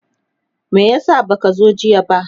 me yasa baka zo jiya ba?